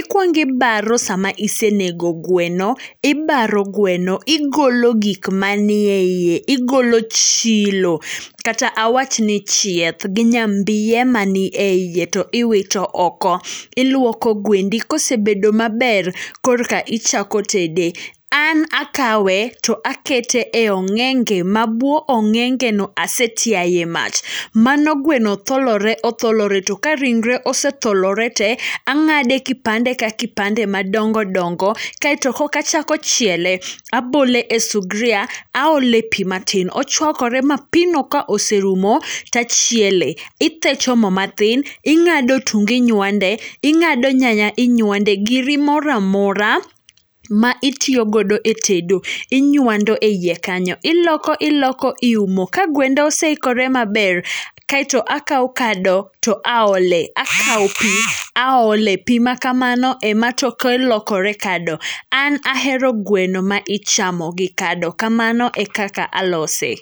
Ikuongi ibaro sama isenego gweno, ibaro gweno. Igolo gikmanie iye, igolo chilo, kata awachni chieth, gi nyombiye mani e iye to iwito oko. Iluoko gwendi, kosebedo maber korka ichako tede. An akawe to akete e ong'enge mabuo ong'engeno asetiaye mach. Mano gweno tholore otholore, to ka ringre osetholore te, ang'ade kipande ka kipande madongo dongo, kaeto koka achako chiele. Abole e subria, aole pii matin, ochuakore mapii no kaoserumo tachiele. Ithecho mo matin, ing'ado otungu inyuande, ing'ado nyanya inyuande, giri moramora ma itiyogodo e tedo, inyuando e iye kanyo. Iloko iloko iumo, ka gwenda oseikore maber, kaeto akao kado to aole. Akao pii aole pii makamano ema toke lokore kado, an ahero gweno maichamo gi kado, kamano ekaka alose.